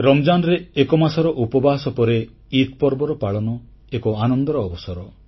ରମଜାନ୍ ରେ ଏକମାସର ଉପବାସ ପରେ ଇଦ୍ ପର୍ବର ପାଳନ ଏକ ଆନନ୍ଦର ଅବସର